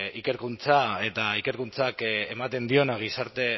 ikerkuntza eta ikerkuntzak ematen diona gizarte